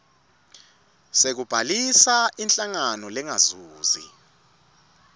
sekubhalisa inhlangano lengazuzi